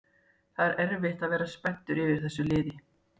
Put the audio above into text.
Það er erfitt að vera spenntur yfir þessu liði